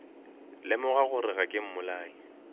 lemoga gore ga ke mmolai